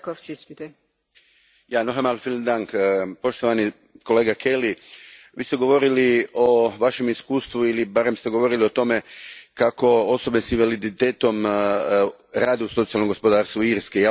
Gospođo predsjednice, poštovani kolega Kelly Vi ste govorili o svojem iskustvu ili barem ste govorili o tome kako osobe s invaliditetom rade u socijalnom gospodarstvu Irske.